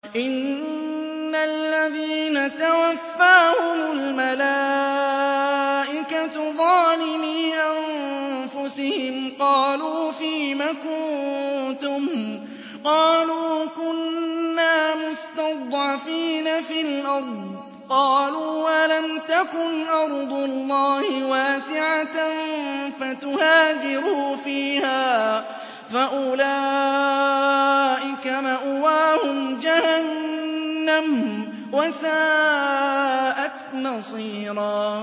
إِنَّ الَّذِينَ تَوَفَّاهُمُ الْمَلَائِكَةُ ظَالِمِي أَنفُسِهِمْ قَالُوا فِيمَ كُنتُمْ ۖ قَالُوا كُنَّا مُسْتَضْعَفِينَ فِي الْأَرْضِ ۚ قَالُوا أَلَمْ تَكُنْ أَرْضُ اللَّهِ وَاسِعَةً فَتُهَاجِرُوا فِيهَا ۚ فَأُولَٰئِكَ مَأْوَاهُمْ جَهَنَّمُ ۖ وَسَاءَتْ مَصِيرًا